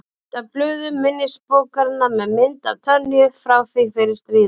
Mynd af blöðum minnisbókarinnar með mynd af Tönyu frá því fyrir stríð.